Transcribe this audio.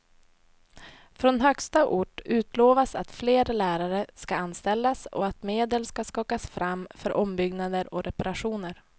Från högsta ort utlovas att fler lärare ska anställas och att medel ska skakas fram för ombyggnader och reparationer.